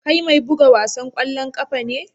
Kai mai bugan wasan kwallon kafa ne?